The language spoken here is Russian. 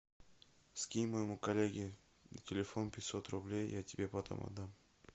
скинь моему коллеге на телефон пятьсот рублей я тебе потом отдам